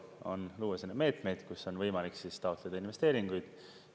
Tuleb luua selliseid meetmeid, et on võimalik taotleda investeeringuid.